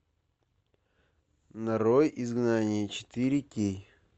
нарой изгнание четыре кей